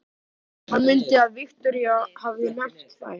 Hann mundi að Viktoría hafði nefnt þær.